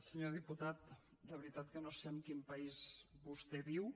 senyor diputat de veritat que no sé en quin país vostè viu